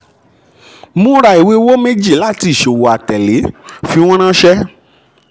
múra ìwé owó mẹ́jì láti ìṣòwò atẹ̀lé fi wọ́n ránsẹ́.